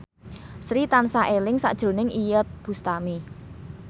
Sri tansah eling sakjroning Iyeth Bustami